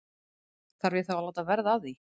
Þarf ég þá að láta verða að því?